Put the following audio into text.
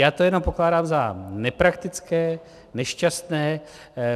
Já to jenom pokládám za nepraktické, nešťastné.